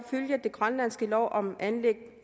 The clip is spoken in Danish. følger den grønlandske lov om anlæggelse